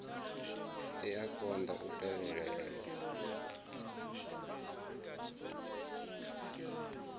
i a konḓa u tevhelela